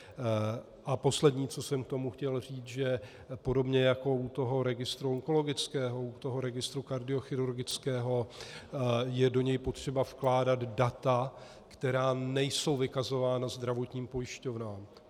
A poslední, co jsem k tomu chtěl říct, že podobně jako u toho registru onkologického, u toho registru kardiochirurgického - je do něj potřeba vkládat data, která nejsou vykazována zdravotním pojišťovnám.